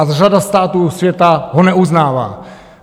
A řada států světa ho neuznává.